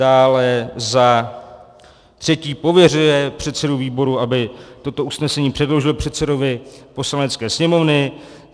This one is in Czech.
Dále za třetí, pověřuje předsedu výboru, aby toto usnesení předložil předsedovi Poslanecké sněmovny.